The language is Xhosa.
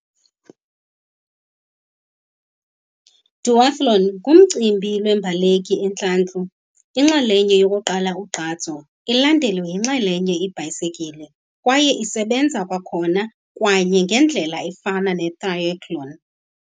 Duathlon ngumcimbi lweembaleki entlantlu inxalenye yokuqala ugqatso, ilandelwe yinxalenye ibhayisikile kwaye isebenza kwakhona kwenye, ngendlela efana netrayethloni.